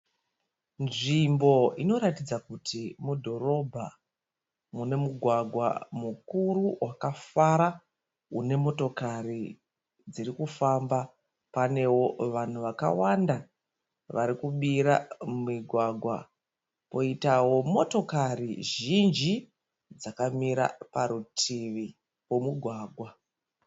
Nzvimbo inoratidza kuti mudhorobha. Mune mugwagwa mukuru wakafara. Une motokari dzirikufamba. Panewo vanhu vakawanda varikubira mugwagwa poitawo motokari zhinji dzakamira parutivi pomugwagwa.